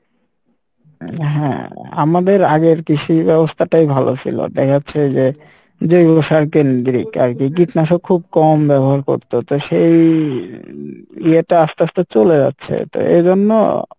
হ্যাঁ আমাদের আগের কৃষি ব্যবস্থাটাই ভালো সিলো দেখা যাচ্ছে যে যেগুলো সারকেন্দ্রিক আরকি কীটনাশক খুব কম ব্যবহার করতো তো সেই ইয়ে টা আস্তে আস্তে চলে যাচ্ছে তো এইজন্য,